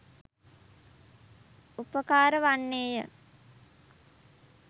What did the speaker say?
උපකාර වන්නේ ය.